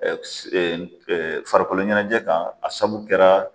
Ɛɛ se Farakoloɲɛnɛjɛ kan a saabu kɛra